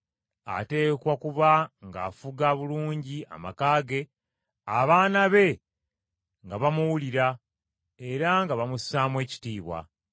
Ateekwa kuba ng’afuga bulungi amaka ge, abaana be nga bamuwulira, era nga bamussaamu ekitiibwa.